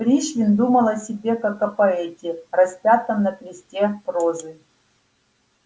пришвин думал о себе как о поэте распятом на кресте прозы